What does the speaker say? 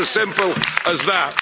Union. It's a simple as